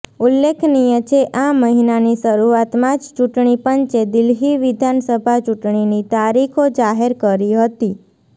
ઉલ્લેખનીય છે આ મહિનાની શરુઆતમાં જ ચૂંટણી પંચે દિલ્હી વિધાનસભા ચૂંટણીની તારીખો જાહેર કરી હતી